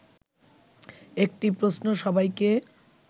একটি প্রশ্ন সবাইকে